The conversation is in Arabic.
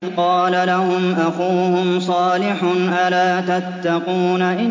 إِذْ قَالَ لَهُمْ أَخُوهُمْ صَالِحٌ أَلَا تَتَّقُونَ